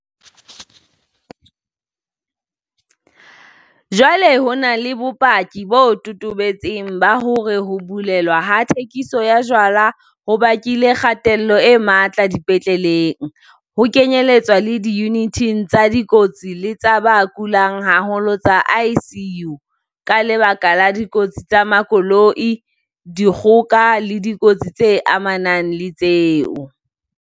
Jwale ho na le bopaki bo totobetseng ba hore ho bulelwa ha thekiso ya jwala ho bakile kgatello e matla dipetleleng, ho kenyeletswa le diyuniting tsa dikotsi le tsa ba kulang haholo tsa ICU, ka lebaka la dikotsi tsa makoloi, dikgoka le dikotsi tse amanang le tseo.